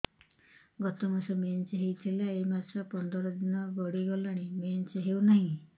ଗତ ମାସ ମେନ୍ସ ହେଇଥିଲା ଏ ମାସ ପନ୍ଦର ଦିନ ଗଡିଗଲାଣି ମେନ୍ସ ହେଉନାହିଁ